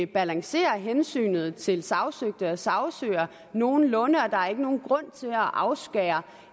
balancerer hensynet til sagsøgte og sagsøger nogenlunde og der er ikke nogen grund til at afskære